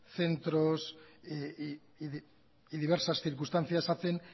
centros y diversas circunstancias hacen